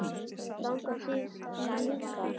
Langar þig í líka?